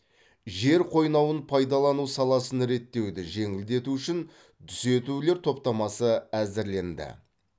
жер қойнауын пайдалану саласын реттеуді жеңілдету үшін түзетулер топтамасы әзірленді